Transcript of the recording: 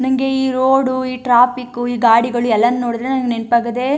ನಂಗೆ ಈ ರೋಡು ಈ ಟ್ರಾಫಿಕು ಈ ಗಾಡಿಗಳು ಎಲ್ಲಾನು ನೋಡಿದ್ರೆ ನಂಗೆ ನೆನಪಾಗದೇ --